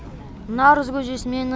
наурыз көжесімен